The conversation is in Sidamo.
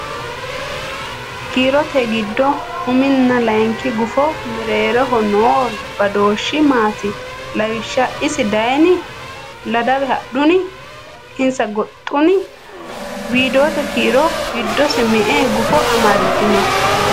Kiirote giddo uminna layinki gufo mereero noo badooshshi maati? Lawishsha - Isi dayni? - Ladawe hadhuni? - Insa goxxuni? Weedote kiiro giddose me”e gufo amaddino?